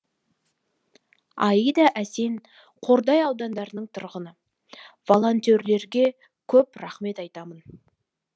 аида әсен қордай ауданының тұрғыны волонтерлерге көп рахмет айтамын